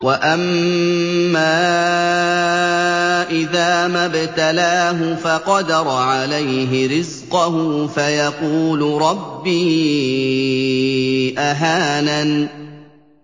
وَأَمَّا إِذَا مَا ابْتَلَاهُ فَقَدَرَ عَلَيْهِ رِزْقَهُ فَيَقُولُ رَبِّي أَهَانَنِ